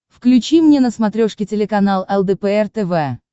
включи мне на смотрешке телеканал лдпр тв